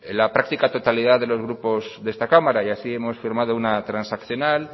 la práctica totalidad de los grupos de esta cámara y así hemos firmado una transaccional